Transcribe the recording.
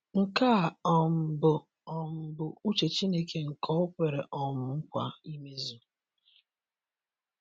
Nke a um bụ um bụ uche Chineke nke o kwere um nkwa imezu.